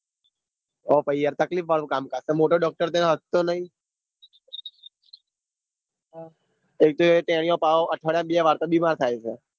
તો પાહિ તકલીફ વાળું કામ કાજ તો મોટો doctor તો એનો હસતો નાઈ હ ઈ તો એ તેનોયો પહો અઠવાડિયા માં બે વાર તો બીમાર થાય છે.